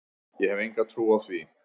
Ég hef enga trú á því,